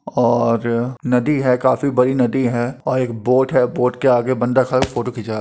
और नदी है। काफी बड़ी नदी है और एक बोट है। बोट के आगे एक बंदा ख फोटो खींचा --